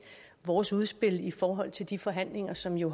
vores udspil i forhold til de forhandlinger som jo